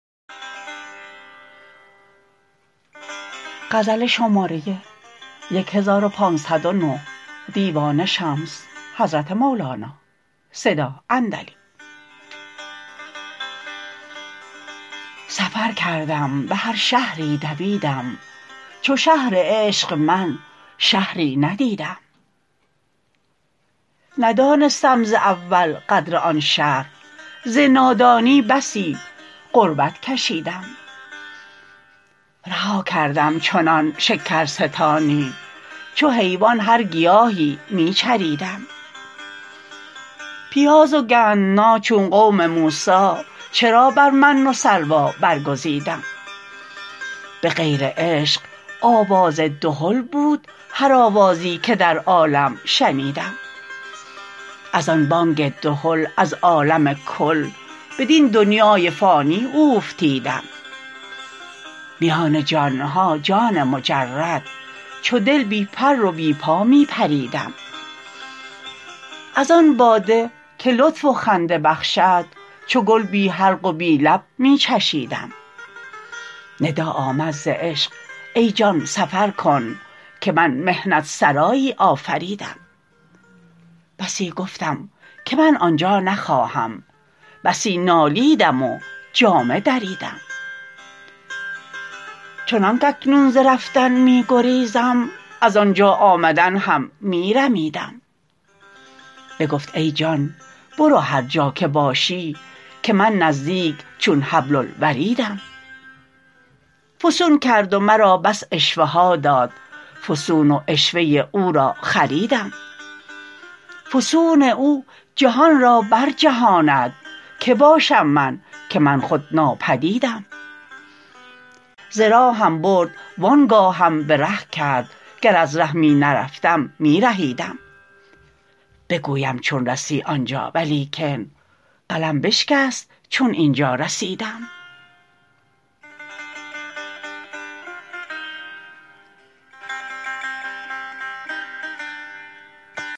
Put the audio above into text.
سفر کردم به هر شهری دویدم چو شهر عشق من شهری ندیدم ندانستم ز اول قدر آن شهر ز نادانی بسی غربت کشیدم رها کردم چنان شکرستانی چو حیوان هر گیاهی می چریدم پیاز و گندنا چون قوم موسی چرا بر من و سلوی برگزیدم به غیر عشق آواز دهل بود هر آوازی که در عالم شنیدم از آن بانگ دهل از عالم کل بدین دنیای فانی اوفتیدم میان جان ها جان مجرد چو دل بی پر و بی پا می پریدم از آن باده که لطف و خنده بخشد چو گل بی حلق و بی لب می چشیدم ندا آمد ز عشق ای جان سفر کن که من محنت سرایی آفریدم بسی گفتم که من آن جا نخواهم بسی نالیدم و جامه دریدم چنانک اکنون ز رفتن می گریزم از آن جا آمدن هم می رمیدم بگفت ای جان برو هر جا که باشی که من نزدیک چون حبل الوریدم فسون کرد و مرا بس عشوه ها داد فسون و عشوه او را خریدم فسون او جهان را برجهاند کی باشم من که من خود ناپدیدم ز راهم برد وان گاهم به ره کرد گر از ره می نرفتم می رهیدم بگویم چون رسی آن جا ولیکن قلم بشکست چون این جا رسیدم